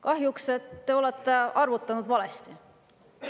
Kahjuks olete te arvutanud valesti.